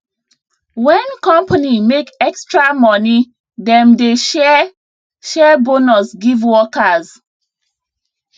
when company make extra money dem dey share share bonus give workers